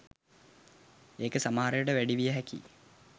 ඒක සමහරවිට වැඩි විය හැකියි